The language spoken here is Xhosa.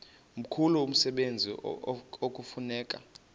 mkhulu umsebenzi ekufuneka